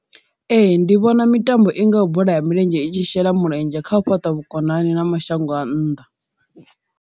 Ee, ndi vhona mitambo i ngaho bola ya milenzhe i tshi shela mulenzhe kha u fhaṱa vhukonani na mashango a nnḓa..